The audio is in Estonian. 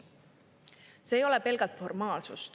See ei ole pelgalt formaalsus.